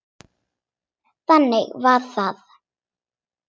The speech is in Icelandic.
Þannig var það.